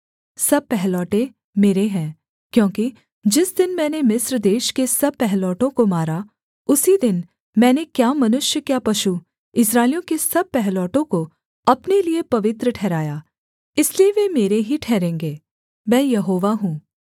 सब पहलौठे मेरे हैं क्योंकि जिस दिन मैंने मिस्र देश के सब पहिलौठों को मारा उसी दिन मैंने क्या मनुष्य क्या पशु इस्राएलियों के सब पहिलौठों को अपने लिये पवित्र ठहराया इसलिए वे मेरे ही ठहरेंगे मैं यहोवा हूँ